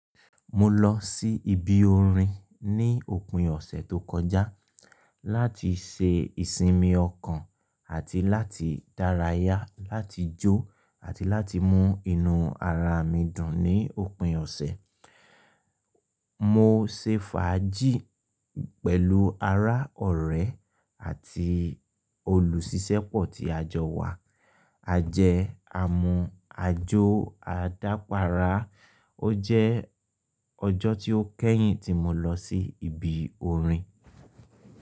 Mo lọ sí ibi orin ní òpin ọ̀sẹ̀ tó kọjá láti ṣe ìsinmi ọkàn àti láti dárayá, láti jó àti láti mú inú ara mi dùn ní òpin ọ̀sẹ̀. Mo ṣe fàájì pẹ̀lú ará ọ̀rẹ́ àti olùṣíṣẹ́pọ̀ ti a jọ wà, a jẹ, a mu, a jó, a dápàrá. Ó jẹ́ ọjọ́ tí ó kẹ́yìn tí mo lọ sí ibi orin.